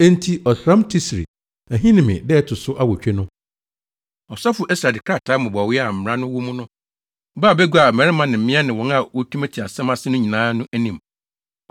Enti ɔsram Tisri (bɛyɛ Ahinime) da a ɛto so awotwe no, ɔsɔfo Ɛsra de krataa mmobɔwee a mmara no wɔ mu no baa bagua a mmarima ne mmea ne wɔn a wotumi te asɛm ase no nyinaa no anim.